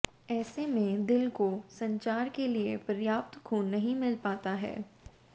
ऐसे में दिल को संचार के लिए प्रयाप्त खून नहीं मिल पाता है